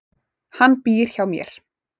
Hann býr hjá mér.